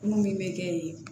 Mun min bɛ kɛ yen